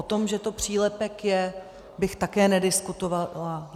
O tom, že to přílepek je, bych také nediskutovala.